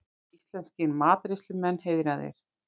Íslenskir matreiðslumenn heiðraðir